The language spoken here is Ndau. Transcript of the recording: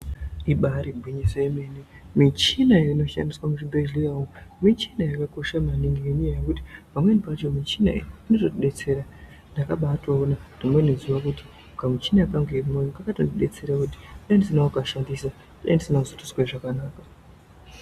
Ibari gwinyiso remene michini inoshandiswa muzvibhedhlera umu michina yakaba kosha kwemene inodetsera ndakabatona rimweni zuwa kuti kamuchina kangu ini kaka tondidetsera kuti dei ndisina kukashandisa dei ndisina kutozwe zvakanaka.